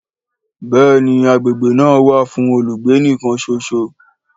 Béèni agbègbè náà wà fún olùgbé nìkan ṣoṣo